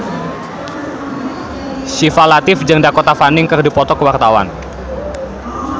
Syifa Latief jeung Dakota Fanning keur dipoto ku wartawan